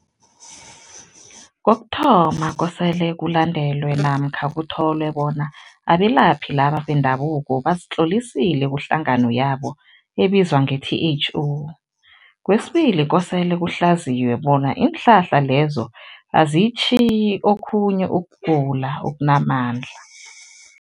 Kokuthoma, kosele kulandelwe namkha kutholwe bona abelaphi laba bendabuko bazitlolisile kuhlangano yabo ebizwa nge-T_H_O. Kwesibili, kosele kuhlaziywe bona iinhlahla lezo aziyitjhiyi okhunye ukugula okunamandla.